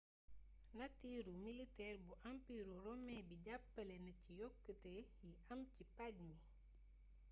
natiiru militeer bu ampiiru romin bi jàppale na ci yokkute yi am ci paj mi